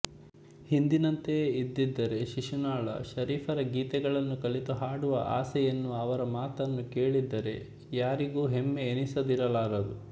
ಹಿಂದಿನಂತೆಯೇ ಇದ್ದಿದ್ದರೆ ಶಿಶುನಾಳ ಶರೀಫರ ಗೀತೆಗಳನ್ನು ಕಲಿತು ಹಾಡುವ ಆಸೆ ಎನ್ನುವ ಅವರ ಮಾತನ್ನು ಕೇಳಿದರೆ ಯಾರಿಗೂ ಹೆಮ್ಮೆ ಎನಿಸದಿರಲಾರದು